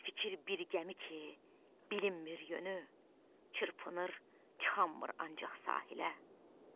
Fikir bir gəmi ki, bilinmir yönü, çırpınır, çıxammır ancaq sahilə.